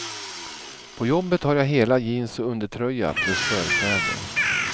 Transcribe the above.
På jobbet har jag hela jeans och undertröja plus förkläde.